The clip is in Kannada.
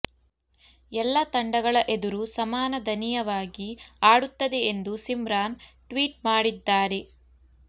ಎಲ್ಲ ತಂಡಗಳ ಎದುರೂ ಸಮಾನ ದಯನೀಯವಾಗಿ ಆಡುತ್ತದೆ ಎಂದು ಸಿಮ್ರಾನ್ ಟ್ವೀಟ್ ಮಾಡಿದ್ದಾರೆ